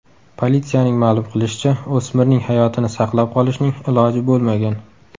Politsiyaning ma’lum qilishicha, o‘smirning hayotini saqlab qolishning iloji bo‘lmagan.